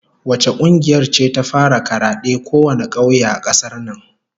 Wace kungiyar ce ta fara karade kowane kauye a kasar nan?